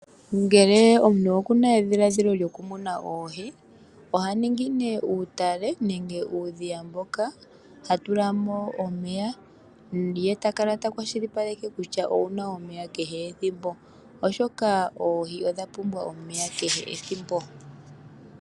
Ngele omuntu okuna edhilaadhilo lyoku muna oohi oha ningi nee uutale nenge uundhiya mboka tatula mo omeya ye ta kala takwashilipaleke kutya omuna omeya kehe ethimbo ooshoka oohi odha pumbwa omeya kehe ethimbo.